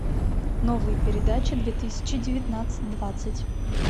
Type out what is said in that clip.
новые передачи две тысячи девятнадцать двадцать